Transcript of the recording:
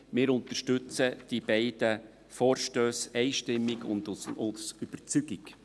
Wir unterstützen die beiden Vorstösse einstimmig und aus Überzeugung.